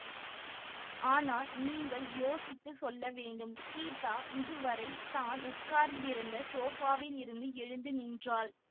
ஆனால் நீங்கள் யோசித்து சொல்ல வேண்டும் சீதா இதுவரை தான் உட்கார்ந்திருந்த சோபாவிலிருந்து எழுந்து நின்றாள்